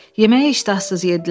Yeməyi iştahsız yeddilər.